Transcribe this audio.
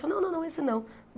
Fa, não, não, não, esse não.